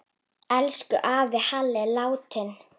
Elsku afi Halli er látinn.